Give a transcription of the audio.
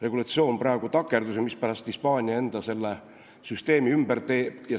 regulatsioon praegu takerdus ja mispärast Hispaania enda süsteemi ümber teeb.